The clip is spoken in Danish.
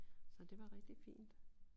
Så det var rigtig fint